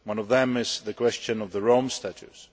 One of them is the question of the Rome Statute.